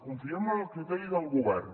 confiem en el criteri del govern